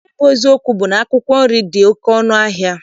Nke bụ eziokwu bụ na akwụkwọ nri dị oke ọnụ ahịa.